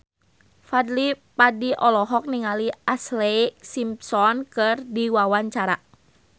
Fadly Padi olohok ningali Ashlee Simpson keur diwawancara